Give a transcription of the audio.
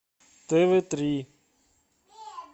тв три